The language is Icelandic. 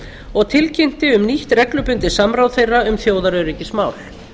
og tilkynnti um nýtt reglubundið samráð þeirra um þjóðaröryggismál